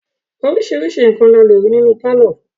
Oríṣiríṣi nǹkan ni a lè rí nínú pálọ̀.